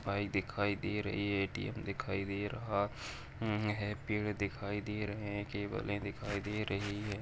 Bike दिखाई दे रही है ए.टी.एम दिखाई दे रहा अ है पेड़ दिखाई दे रहे हैं केबले दिखाई दे रही हैं।